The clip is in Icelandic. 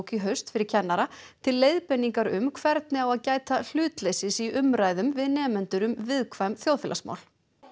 í haust fyrir kennara til leiðbeiningar um hvernig á að gæta hlutleysis í umræðum við nemendur um viðkvæm þjóðfélagsmál